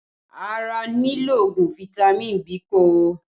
Ara nílò ogun fitami Biiko